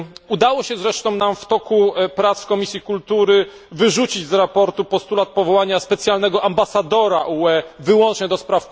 Udało się zresztą nam w toku prac Komisji Kultury wyrzucić ze sprawozdania postulat powołania specjalnego ambasadora UE wyłącznie ds.